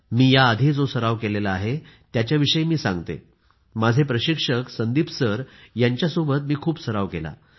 मी या आधि जो सराव केला आहे त्याच्याविषयी मी सांगते माझे प्रशिक्षक संदीप सर यांच्यासोबत मी खूप सराव केला आहे